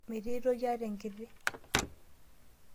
Metii aitoki ata enkiti.